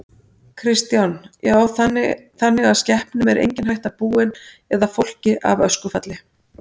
Kristján: Já þannig að skepnum er engin hætta búin eða fólki af öskufalli?